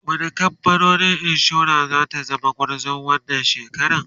wani kamfanin insura zata zama gwarzo wannan shekaran?